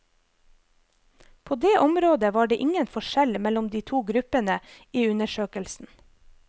På det området var det ingen forskjell mellom de to gruppene i undersøkelsen.